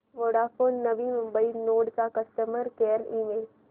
Vodafone Navi Mumbai node चा customer care email